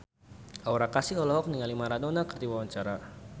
Aura Kasih olohok ningali Maradona keur diwawancara